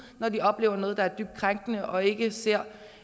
når de oplever noget der er dybt krænkende og ikke ser